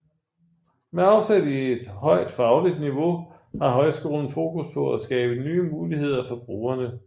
Med afsæt i et højt fagligt niveau har højskolen fokus på at skabe nye muligheder for brugerne